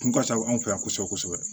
Kun ka ca anw fɛ yan kosɛbɛ kosɛbɛ